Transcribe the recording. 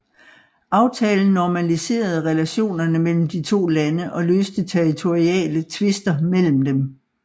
Aftalen normaliserede relationerne mellem de to lande og løste territoriale tvister imellem dem